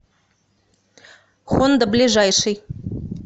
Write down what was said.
хонда ближайший